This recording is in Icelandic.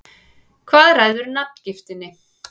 Hvað ræður nafngiftinni?